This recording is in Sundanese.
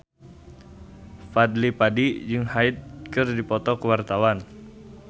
Fadly Padi jeung Hyde keur dipoto ku wartawan